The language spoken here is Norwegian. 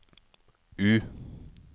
U